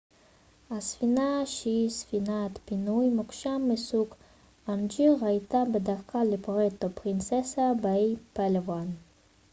הספינה שהיא ספינת פינוי מוקשים מסוג אוונג'ר הייתה בדרכה לפוארטו פרינססה באי פאלאוואן